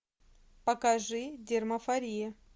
покажи дермафория